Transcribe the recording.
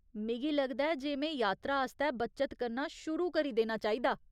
मिगी लगदा ऐ जे में यात्रा आस्तै बच्चत करना कर शुरू करी देना चाहिदा।